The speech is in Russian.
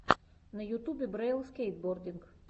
на ютубе брэйл скейтбординг